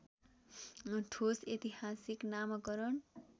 ठोस ऐतिहासिक नामाकरण